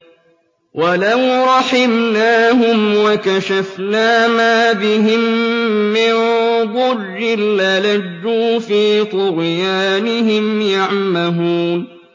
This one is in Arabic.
۞ وَلَوْ رَحِمْنَاهُمْ وَكَشَفْنَا مَا بِهِم مِّن ضُرٍّ لَّلَجُّوا فِي طُغْيَانِهِمْ يَعْمَهُونَ